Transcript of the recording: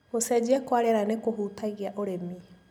Gũcenjia kwa rĩera nĩkũhutagia ũrĩmi.